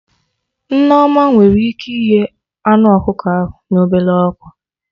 Nneoma nwere ike ighe anụ ọkụkọ ahụ na ọbele ọkụ